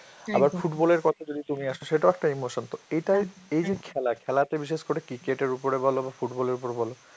আবার football এর কথায় যদি তুমি আসো, সেটাও একটা emotion তো, এটাই~ এই যে খেলা, খেলাতে বিশেষ করে cricket এর উপর বলো বা football এর উপর বলো,